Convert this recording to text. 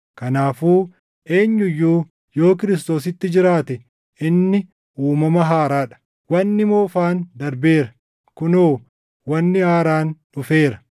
Kanaafuu eenyu iyyuu yoo Kiristoositti jiraate inni uumama haaraa dha; wanni moofaan darbeera; kunoo wanni haaraan dhufeera.